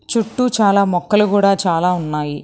చుట్టూ చాలా మొక్కలు కూడా చాలా ఉన్నాయి.